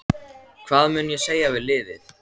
Hvað mun ég segja við liðið?